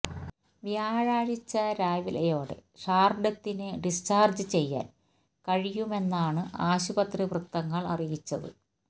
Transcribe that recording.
വ്യാഴാഴ്ച രാവിലയോടെ ഷാര്ഡത്തിനെ ഡിസ്ചാര്ജ് ചെയ്യാന് കഴിയുമെന്നാണ് ആശുപത്രി വൃത്തങ്ങള് അറിയിച്ചത്